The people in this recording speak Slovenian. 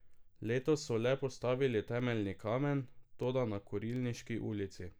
Letos so le postavili temeljni kamen, toda na Kurilniški ulici.